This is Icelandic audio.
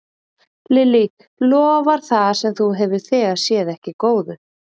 Lillý, lofar það sem þú hefur þegar séð ekki góðu?